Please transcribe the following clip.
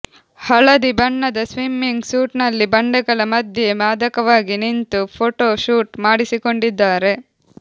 ಹಳದಿ ಬಣ್ಣದ swimming suit ನಲ್ಲಿ ಬಂಡೆಗಳ ಮಧ್ಯೆ ಮಾದಕವಾಗಿ ನಿಂತು ಫೋಟೋ ಶೂಟ್ ಮಾಡಿಸಿಕೊಂಡಿದ್ದಾರೆ